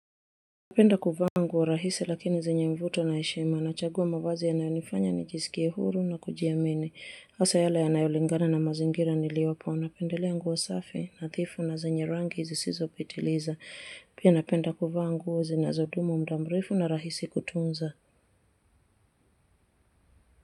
Napenda kuvaa nguo rahisi lakini zenye mvuto na heshima nachagua mavazi yanayonifanya ni jisikie huru na kujiamini. Asa yale yanayolingana na mazingira niliyopo. Unapendelea nguo safi nathifu na zenye rangi zisizo petiliza. Pia napenda kuvaa nguo zinazodumu muda mrefu na rahisi kutunza.